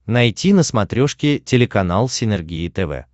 найти на смотрешке телеканал синергия тв